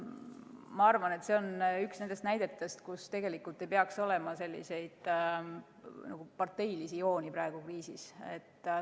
Ma arvan, et see on üks nendest näidetest, kus ei peaks praegu kriisiajal olema selliseid parteilisi jooni.